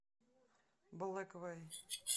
блэквэй